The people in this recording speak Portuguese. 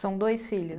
São dois filhos?